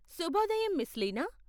శుభోదయం మిస్ లీనా!